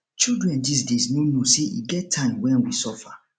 children dis days no know say e get time wen we suffer